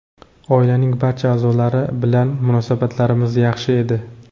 Oilaning barcha a’zolari bilan munosabatlarimiz yaxshi edi.